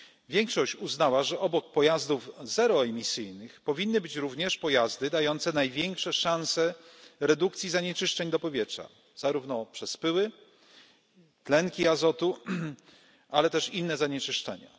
Większość uznała, że obok pojazdów zeroemisyjnych powinny być również pojazdy dające największe szanse redukcji zanieczyszczeń do powietrza, zarówno przez pyły, tlenki azotu, ale też inne zanieczyszczenia.